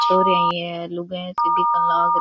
छोरियां ही है लुगाया सी दिखन लागरी।